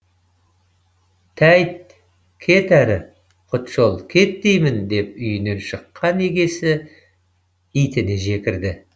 тәйт кет әрі құтжол кет деймін деп үйінен шыққан егесі итіне жекірді